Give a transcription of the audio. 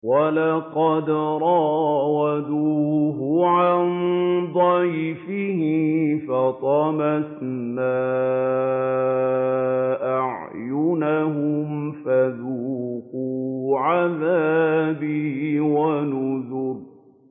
وَلَقَدْ رَاوَدُوهُ عَن ضَيْفِهِ فَطَمَسْنَا أَعْيُنَهُمْ فَذُوقُوا عَذَابِي وَنُذُرِ